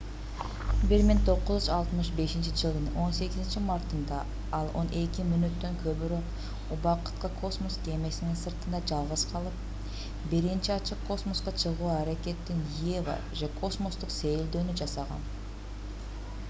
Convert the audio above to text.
1965-жылдын 18-мартында ал он эки мүнөттөн көбүрөөк убакытка космос кемесини сыртында жалгыз калып биринчи ачык космоско чыгуу аракетин eva же космостук сейилдөөнү жасаган